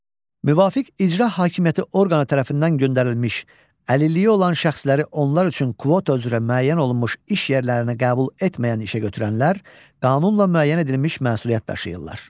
Müvafiq icra hakimiyyəti orqanı tərəfindən göndərilmiş əlilliyi olan şəxsləri onlar üçün kvota üzrə müəyyən olunmuş iş yerlərinə qəbul etməyən işəgötürənlər qanunla müəyyən edilmiş məsuliyyət daşıyırlar.